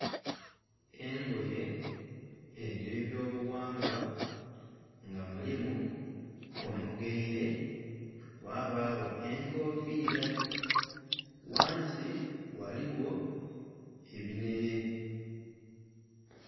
Engoye edh'ebyobughangwa nga mulimu omugaile, ghabagho enkofiila, ghansi ghaligho ebinhele.